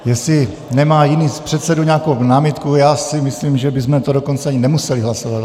Jestli nemá jiný z předsedů nějakou námitku, já si myslím, že bychom to dokonce ani nemuseli hlasovat.